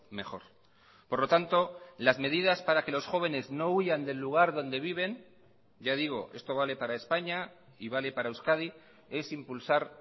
mejor por lo tanto las medidas para que los jóvenes no huyan del lugar donde viven ya digo esto vale para españa y vale para euskadi es impulsar